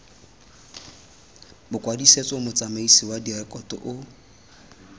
bokwadisetso motsamaisi wa direkoto o